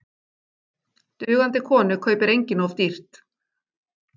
Dugandi konu kaupir enginn of dýrt.